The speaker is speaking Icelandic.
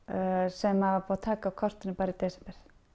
sem var búið að taka af kortinu bara í desember